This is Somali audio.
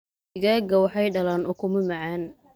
Digaagga waxay dhalaan ukumo macaan.